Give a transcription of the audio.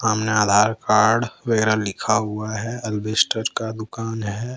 सामने आधार कार्ड वगैरा लिखा हुआ है अल्बेस्टर का दुकान है।